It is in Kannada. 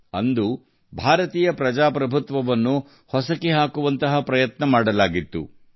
ಆ ಸಮಯದಲ್ಲಿ ಭಾರತದ ಪ್ರಜಾಪ್ರಭುತ್ವವನ್ನು ಹೊಸಕಿ ಹಾಕುವ ಪ್ರಯತ್ನ ನಡೆಯಿತು